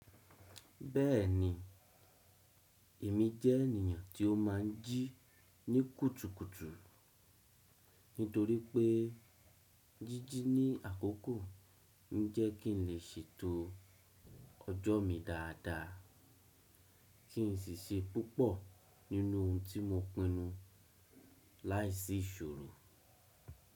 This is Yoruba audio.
Bẹ́ẹ̀ni, èmi jẹ́ ènìyàn tí ó má n jí ní kùtùkùtù, nítorí pé jíjí ní àkókò n jẹ́ kín lè ṣe ètò ọjọ́ mi dáadáa, kí n sì ṣe púpọ̀ nínú ohun tí mo pinnu láìsí ìṣòro.